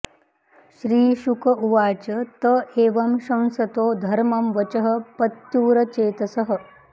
श्रीशुक उवाच त एवं शंसतो धर्मं वचः पत्युरचेतसः